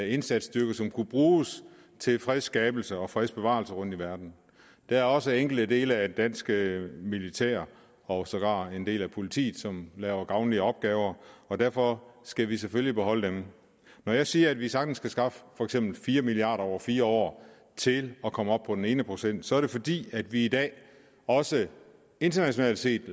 indsatsstyrke som kunne bruges til fredsskabelse og fredsbevarelse rundt i verden der er også enkelte dele af det danske militær og sågar en del af politiet som laver gavnlige opgaver og derfor skal vi selvfølgelig beholde dem når jeg siger at vi sagtens kan skaffe for eksempel fire milliard kroner over fire år til at komme op på den ene procent er det fordi vi i dag også internationalt set